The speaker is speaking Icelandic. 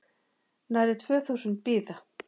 Nærri tvö þúsund bíða